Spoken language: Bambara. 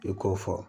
I k'o fɔ